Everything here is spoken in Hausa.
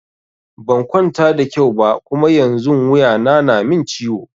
Ban kwanta da kyau ba Kuma yanzun wuya na na min ciwo.